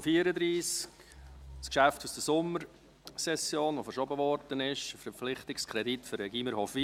Es handelt sich um das Geschäft aus der Sommersession, das verschoben wurde, ein Verpflichtungskredit für das Gymnasium Hofwil.